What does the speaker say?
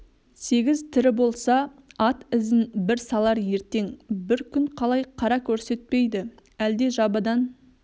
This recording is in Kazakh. сегіз тірі болса ат ізін бір салар ертең бір күн қалай қара көрсетпейді әлде жабыдан